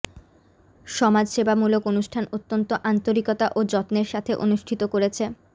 সমাজসেবামূলক অনুষ্ঠান অত্যন্ত আন্তরিকতা ও যত্নের সাথে অনুষ্ঠিত করেছে